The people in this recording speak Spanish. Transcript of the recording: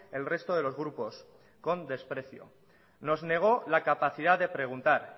el resto de los grupos con desprecio nos negó la capacidad de preguntar